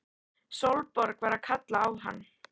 Sólborg var að kalla á hann!